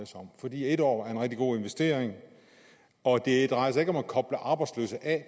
sig om fordi en år er en rigtig god investering og det drejer sig ikke om at koble arbejdsløse af